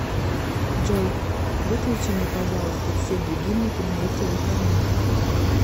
джой выключи мне пожалуйста все будильники на эти выходные